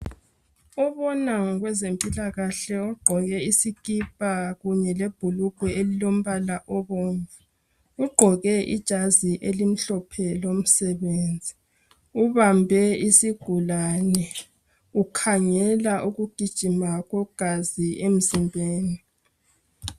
Obona ngezempilakahle ogqoke isikipa kanye lebhulugwe elilombala obomvu. Ugqoke ijazi elimhlophe lomsebenzi ubambe isigulane ukhangela ukugijima kwegazi emzimbeni.